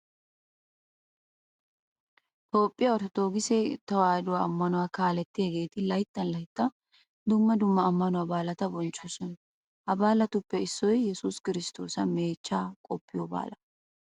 Toophphiya orttodookise tewaahiduwa ammanuwa kaalliyageeti layttan layttan dumma dumma ammanuwa baalata bonchchoosona. Ha baalatuppe issoy yesuus kiristtoosa meechchaa qoppiyo baalaa.